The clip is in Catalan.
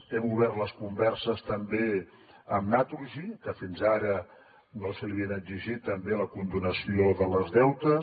hem obert les converses també amb naturgy que fins ara no se li havia exigit també la condonació dels deutes